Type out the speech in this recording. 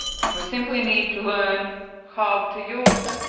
We simply need to learn how to use them.